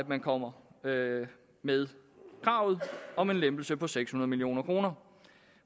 man kommer med med kravet om en lempelse på seks hundrede million kroner